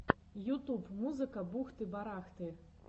ютуб музыка бухты барахты